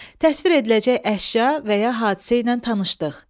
Təsvir ediləcək əşya və ya hadisə ilə tanışlıq.